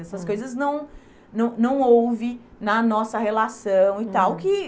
Essas coisas não não não houve na nossa relação e tal.